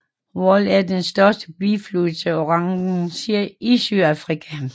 Vaal er den største biflod til Oranje i Sydafrika